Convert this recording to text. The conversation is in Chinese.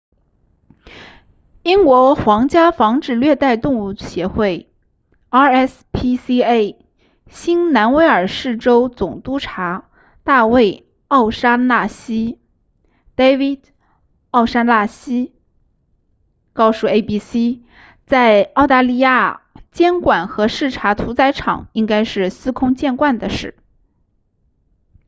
英国皇家防止虐待动物协会 rspca 新南威尔士州总督察大卫奥沙纳西 david o'shannessy 告诉 abc 在澳大利亚监管和视察屠宰场应该是司空见惯的事